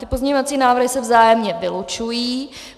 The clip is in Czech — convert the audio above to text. Ty pozměňovací návrhy se vzájemně vylučují.